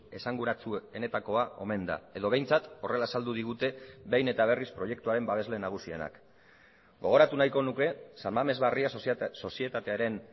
esanguratsuenetakoa omen da edo behintzat horrela azaldu digute behin eta berriz proiektuaren babesle nagusienak gogoratu nahiko nuke san mames barria sozietatearen